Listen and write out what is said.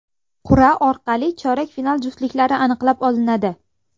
Qur’a orqali chorak final juftliklari aniqlab olinadi.